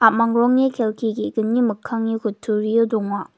a·mang rongni kelki ge·gni mikkangni kutturio donga.